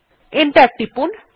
enter টিপুন